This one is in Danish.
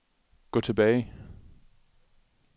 gå tilbage